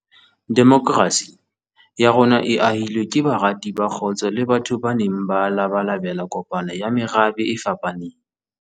Demokrasi ya rona e ahilwe ke barati ba kgotso le batho ba neng ba labalabela kopano ya merabe e fapaneng.